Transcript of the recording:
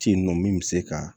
Ce nɔ min bɛ se ka